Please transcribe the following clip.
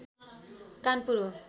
कानपुर हो